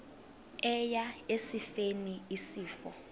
eya esifeni isifo